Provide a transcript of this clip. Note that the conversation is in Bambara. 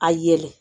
A yɛlɛ